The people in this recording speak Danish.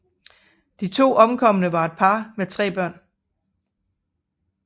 De to omkomne var et par med tre børn